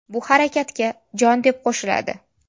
Bu harakatga jon, deb qo‘shiladi.